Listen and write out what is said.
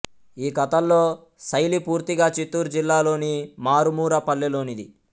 ఈ కథల్లో శైలి పూర్తిగా చిత్తూరు జిల్లాలోని మారు మూర పల్లెలోనిది